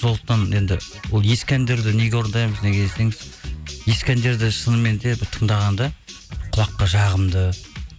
сондықтан енді ол ескі әндерді неге орындаймыз неге десеңіз ескі әндерді шыныменде бір тыңдағанда құлаққа жағымды